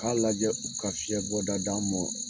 U k'a lajɛ, u ka fiɲɛ bɔda d' an ma.